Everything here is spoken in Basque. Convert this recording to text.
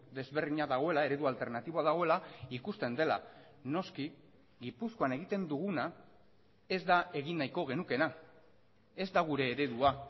desberdina dagoela eredu alternatiboa dagoela ikusten dela noski gipuzkoan egiten duguna ez da egin nahiko genukeena ez da gure eredua